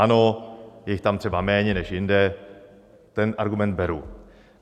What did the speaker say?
Ano, je jich tam třeba méně než jinde, ten argument beru.